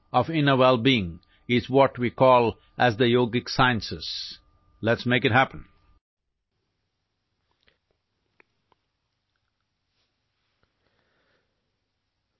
আভ্যন্তৰীণ মংগল অনাৰ কৌশলটোক যোগ বুলি জনা যায়